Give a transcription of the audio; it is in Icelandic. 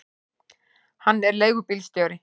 Hann er leigubílstjóri.